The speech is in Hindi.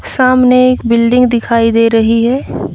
सामने एक बिल्डिंग दिखाई दे रही है।